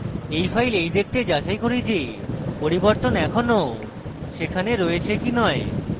এখন files এই দেখতে যাচাই করি যে পরিবর্তন এখনও সেখানে রয়েছে কি নয়